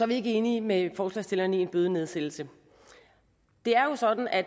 vi ikke enige med forslagsstillerne i en bødenedsættelse det er jo sådan at